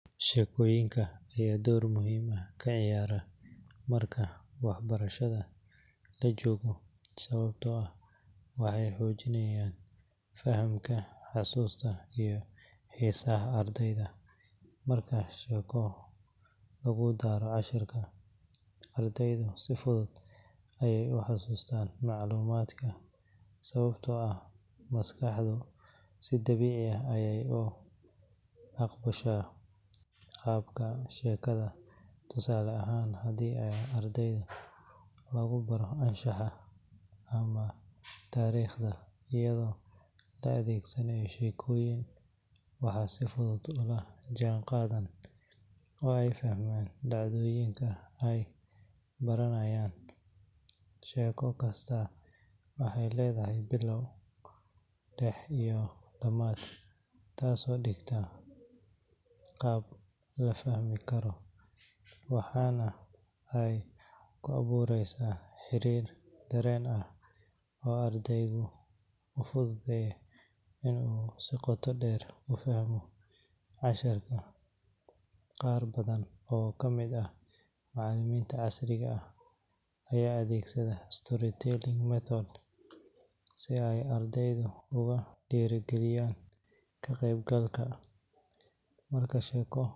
Sheekooyinka ayaa door muhiim ah ka ciyaara marka waxbarashada la joogo sababtoo ah waxay xoojiyaan fahamka, xasuusta, iyo xiisaha ardayda. Marka sheeko lagu daro casharka, ardaydu si fudud ayey u xasuustaan macluumaadka sababtoo ah maskaxdu si dabiici ah ayay u aqbashaa qaabka sheekada. Tusaale ahaan, haddii arday lagu baro anshaxa ama taariikhda iyadoo la adeegsanayo sheekooyin, waxay si fudud ula jaanqaadaan oo ay fahmaan dhacdooyinka ay baranayaan. Sheeko kastaa waxay leedahay bilow, dhex iyo dhammaad taasoo dhigta qaab la fahmi karo, waxaana ay ku abuureysaa xiriir dareen ah oo ardayga u fududeeya in uu si qoto dheer u fahmo casharka. Qaar badan oo ka mid ah macallimiinta casriga ah ayaa adeegsanaya storytelling method si ay ardayda ugu dhiirrigeliyaan ka-qaybgalka. Marka sheeko.